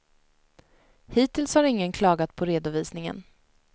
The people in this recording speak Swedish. Hittills har ingen klagat på redovisningen.